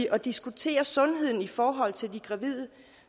at diskutere sundheden i forhold til de gravide